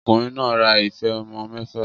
Ọkùnrin náà ra ife ọmọ mẹ́fà